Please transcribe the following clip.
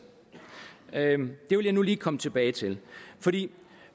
det vil jeg nu lige komme tilbage til